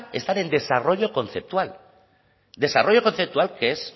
están en desarrollo conceptual desarrollo conceptual que es